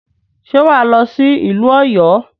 Ṣe wà á lọ sí ìlú Ọ̀yọ́?